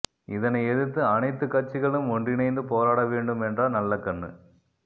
இதனை எதிர்த்து அனைத்து கட்சிகளும் ஒன்றிணைந்து போராட வேண்டும் என்றார் நல்லகண்ணு